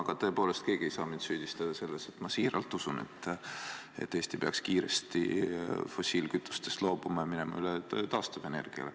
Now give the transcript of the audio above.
Aga tõepoolest, keegi ei tohiks mind süüdistada selles, et ma siiralt usun, et Eesti peaks kiiresti fossiilkütustest loobuma ja minema üle taastuvenergiale.